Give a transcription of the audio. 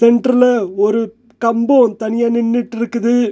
சென்டர்ல ஒரு கம்போ தனியா நின்னுட்ருக்குது.